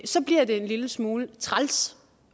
lille smule træls